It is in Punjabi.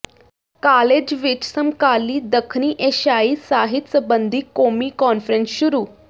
ਕਾਲਜ ਵਿੱਚ ਸਮਕਾਲੀ ਦੱਖਣੀ ਏਸ਼ਿਆਈ ਸਾਹਿਤ ਸਬੰਧੀ ਕੌਮੀ ਕਾਨਫ਼ਰੰਸ ਸ਼ੁਰੂ